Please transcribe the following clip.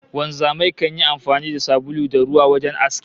Wanzamai kan yi amfani da sabulu da ruwa wajen aski